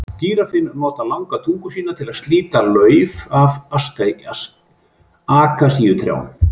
Gíraffinn notar langa tungu sína til að slíta lauf af akasíutrjám.